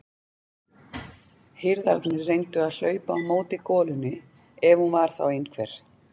Hirðarnir reyndu að hlaupa á móti golunni ef hún var þá einhver.